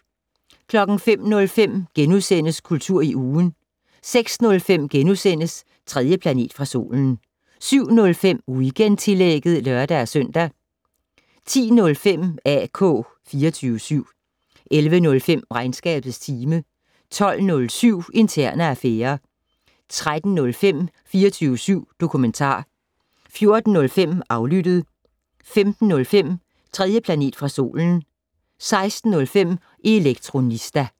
05:05: Kultur i ugen * 06:05: 3. planet fra solen * 07:05: Weekendtillægget (lør-søn) 10:05: AK 24syv 11:05: Regnskabets time 12:07: Interne affærer 13:05: 24syv dokumentar 14:05: Aflyttet 15:05: 3. planet fra solen 16:05: Elektronista